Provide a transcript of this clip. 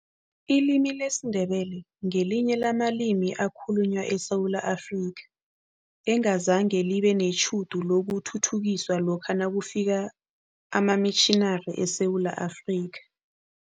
Ilimi lesiNdebele ngelinye lamalimi ekhalunywa eSewula Afrika, engazange libe netjhudu lokuthuthukiswa lokha nakufika amamitjhinari eSewula Afrika.